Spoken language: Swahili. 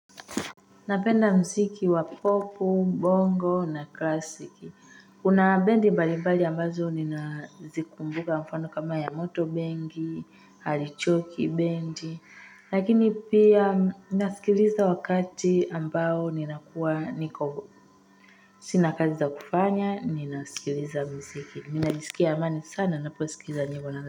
Napenda mziki wa popu, bongo na klasiki. Kuna bendi mbali mbali ambazo ninazikumbuka mfano kama yamoto bengi, harichoki bendi. Lakini pia nasikiliza wakati ambao nina kuwa niko Sina kazi za kufanya, ninasikiliza mziki. Ninajisikia amani sana, naposikiliza nyimbo na.